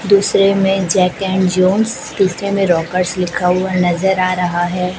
दूसरे में Jack and Jones तीसरे में रॉकर्स लिखा हुआ नजर आ रहा है।